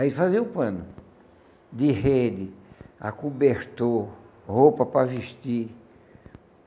Aí fazia o pano de rede, a cobertor, roupa para vestir.